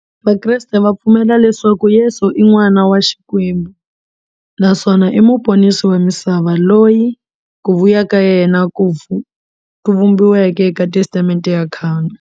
Vakreste va pfumela leswaku Yesu i n'wana wa Xikwembu naswona i muponisi wa misava, loyi ku vuya ka yena ku vhumbiweke eka Testamente ya khale.